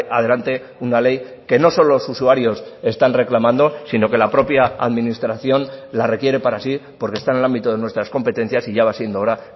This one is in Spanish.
adelante una ley que no solo los usuarios están reclamando sino que la propia administración la requiere para sí porque está en el ámbito de nuestras competencias y ya va siendo hora